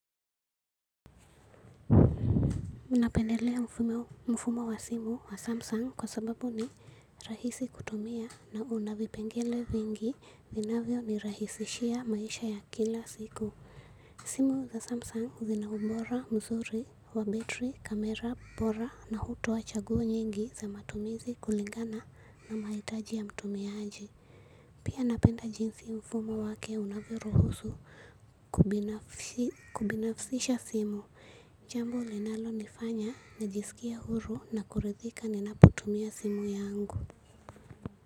Unapendelea mfumo wa simu wa Samsung kwa sababu ni rahisi kutumia na una vipengele vingi vinavyo nirahisishia maisha ya kila siku. Simu za Samsung zina ubora mzuri wa battery, kamera, bora na hutua chaguo nyingi za matumizi kulingana na mahitaji ya mtumiaji. Pia napenda jinsi mfumo wake unavyoruhusu kubinafsisha simu. Jambo linalo nifanya, najisikie huru na kuridhika ni napotumia simu yangu.